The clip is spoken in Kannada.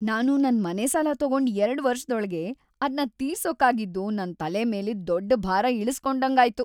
ನಾನು ನನ್‌ ಮನೆ ಸಾಲ ತಗೊಂಡ್ ಎರಡು ವರ್ಷದೊಳ್ಗೇ ಅದ್ನ ತೀರ್ಸೋಕಾಗಿದ್ದು ನನ್‌ ತಲೆ ಮೇಲಿದ್ ದೊಡ್ಡ್‌ ಭಾರ ಇಳುಸ್ಕೊಂಡಂಗಾಯ್ತು.